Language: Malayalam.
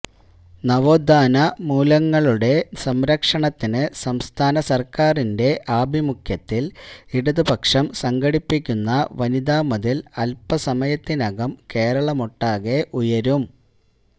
നവോത്ഥാന മൂല്യങ്ങളുടെ സംരക്ഷണത്തിന് സംസ്ഥാന സർക്കാറിന്റെ ആഭിമുഖ്യത്തിൽ ഇടതുപക്ഷം സംഘടിപ്പിക്കുന്ന വനിതാ മതിൽ അൽപസമയത്തിനകം കേരളമൊട്ടാകെ ഉയരും